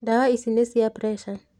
Ndawa ici nĩ cia preca.